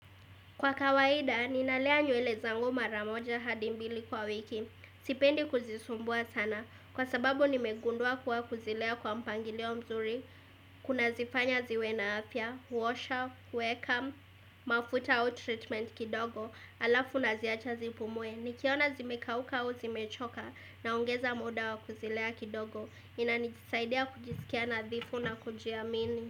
Kwa kawaida, ninalea nywele zangu maramoja hadimbili kwa wiki, sipendi kuzisumbua sana, kwa sababu nimegundua kuwa kuzilea kwa mpangilio mzuri, kuna zifanya ziwe na afya, huosha, huweka, mafuta au treatment kidogo, alafu naziacha zipumue, nikiona zimekauka au zimechoka naongeza muda wa kuzilea kidogo, inanijisaidia kujisikia nadhifu na kujia mini.